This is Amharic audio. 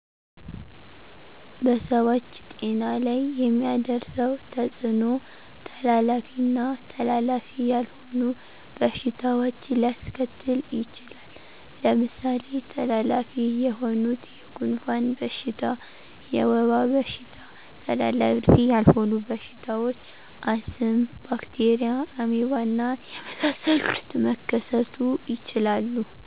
በሰዎች ጤና ላይ የሚያደርሰዉ ተጽኖ:-ተላላፊ ና ተላላፊ ያልሆኑ በሽታዎች ሊያሰከትል ይችላል። ለምሳሌ ተላላፊ የሆኑት:-የጉንፍን በሽታ፣ የወባ በሽታ ተላላፊ ያልሆኑ በሽታዎች :-አስም፣ ባክቴርያ፣ አሜባና የመሳሰሉት መከሰቱ ይችላሉ።